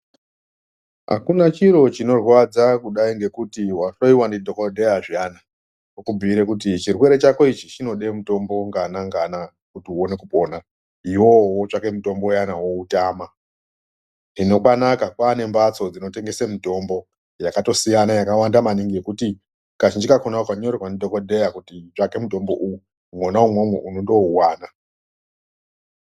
Hakuna chiro chinorwadza kudayi ngekuti wahloyiwa ndidhokodheya zviyana okubhiyirwe kuti chirwere chako ichi chinode mutombo ngana ngana kuti uwane kupona iwewe wotsvaka mutombo uyani woutama hino kwanaka kwaane mbatso dzinotengese mitombo yakatosiyana yakawanda maningi kazhinji kakona ukanyorerwa ndidhokodheya kuti tsvaka mutombo uyu mwona umwomwo unotowana.